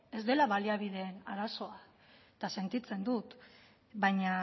ez dela baliabide arazoa eta sentitzen dut baina